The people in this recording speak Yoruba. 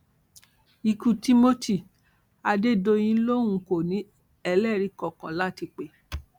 ikú timothy adédọyìn lòun kò ní ẹlẹrìí kankan láti pè